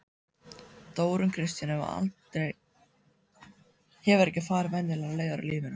Þórunn Kristín hefur ekki farið venjulegar leiðir í lífinu.